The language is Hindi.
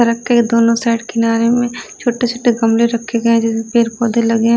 सड़क के दोनों साइड किनारे में छोटे-छोटे गमले रखे गए हैं जिनमें पेड़ पौधे लगे हैं।